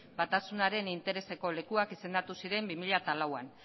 batasunaren intereseko lekuak izendatu ziren bi mila lauan